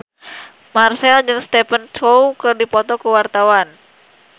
Marchell jeung Stephen Chow keur dipoto ku wartawan